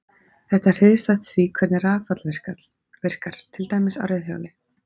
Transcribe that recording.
Þetta er hliðstætt því hvernig rafall virkar, til dæmis á reiðhjóli.